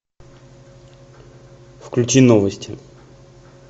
включи новости